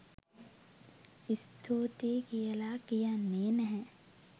ස්තුතියි කියල කියන්නේ නැහැ.